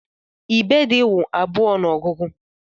Ibèdí wụ abụọ n'ogugu.